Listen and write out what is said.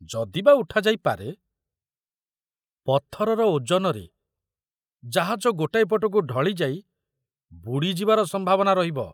ଯଦି ବା ଉଠାଯାଇ ପାରେ, ପଥରର ଓଜନରେ ଜାହାଜ ଗୋଟାଏ ପଟକୁ ଢଳି ଯାଇ ବୁଡ଼ିଯିବାର ସମ୍ଭାବନା ରହିବ।